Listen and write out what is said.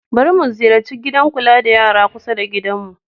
Bari mu ziyarci gidan kula da yara kusa da gidanmu.